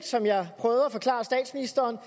som jeg prøvede at forklare statsministeren